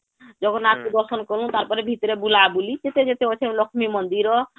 ଜଗନ୍ନାଥ ଙ୍କୁ ଦର୍ଶନ କଲୁ , ତାପରେ ଭିତରେ ବୁଲା ବୁଲି କେତେ ଯେତେ ଅଛି , ଲକ୍ଷ୍ମୀ ମନ୍ଦିର